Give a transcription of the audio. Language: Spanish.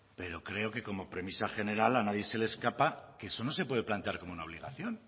pero creo que como premisa general a nadie se le escapa que eso no se puede plantear como una obligación